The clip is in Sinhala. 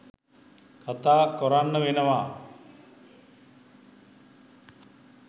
කතා කොරන්න වෙනවා.